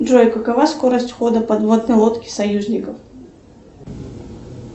джой какова скорость хода подводной лодки союзников